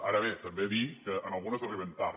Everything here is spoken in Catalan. ara bé també dir que en algunes arribem tard